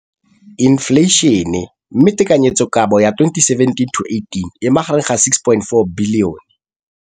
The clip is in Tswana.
Infleišene, mme tekanyetsokabo ya 2017 le 2018 e magareng ga R6.4 bilione.